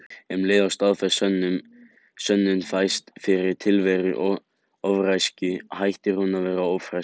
Um leið og staðfest sönnun fæst fyrir tilveru ófreskju hættir hún að vera ófreskja.